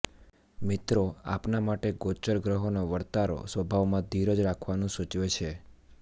મીત્રો આપના માટે ગોચર ગ્રહોનો વરતારો સ્વભાવમા ધીરજ રાખવાનું સુચવે છે